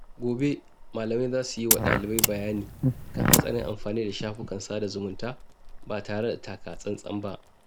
Gobe, malamai za su yi wa dalibai bayani kan hatsarin amfani da shafukan sada zumunta ba tare da taka tsantsan ba.